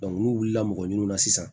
n'u wulila mɔgɔ ɲin'a na sisan